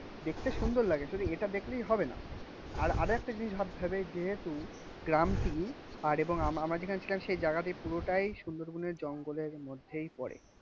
দেখতে সুন্দর লাগে. যদি এটা দেখলেই হবে না আর আরেকটা জিনিস ভাবতে হবে যেহেতু গ্রামটি আর এবং আমরা যেখানটায় সেই জায়গা দিয়ে পুরোটাই সুন্দরবনের জঙ্গলের মধ্যেই পড়ে.